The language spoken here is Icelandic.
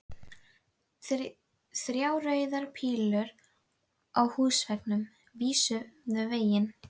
Þrjár rauðar pílur á húsveggnum vísuðu veginn.